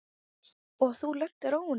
Og þú lentir á honum?